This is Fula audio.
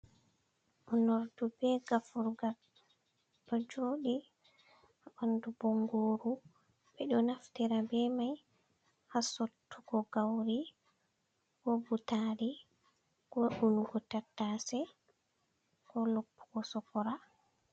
Unordu be gafurgal ɗo joɗi ha ɓandu bongoru ɓeɗo naftira be mai ha sotugo gauri ko butali ko unugo tattase ko loppugo sokora.